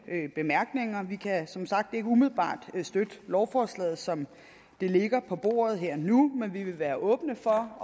bemærkninger vi kan som sagt ikke umiddelbart støtte lovforslaget som det ligger på bordet her og nu men vi vil være åbne for